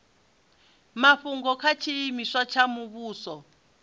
mafhungo kha tshiimiswa tsha muvhuso